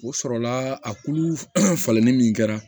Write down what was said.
O sɔrɔla a kulu falenni min kɛra